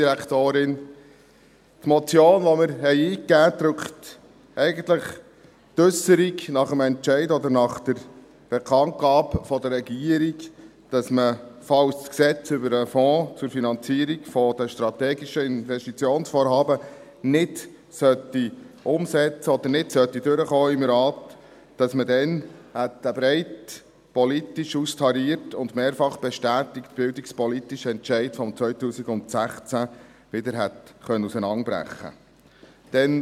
Die Motion, die wir eingaben, drückt eigentlich die Äusserung nach dem Entscheid oder der Bekanntgabe der Regierung aus, dass man, falls man das Gesetz über den Fonds zur Finanzierung von strategischen Investitionsvorhaben (FFsIG) nicht umsetzen sollte oder es im Rat nicht durchkommen sollte, dass man dann den breit politisch austarierten und mehrfach bestätigten bildungspolitischen Entscheid von 2016 wieder hätte auseinanderbrechen können.